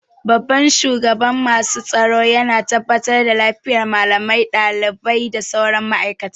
Shugaban masu tsaro yana tabbatar da lafiyar malamai, ɗalibai da sauran ma'aikata